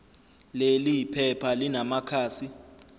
leli phepha linamakhasi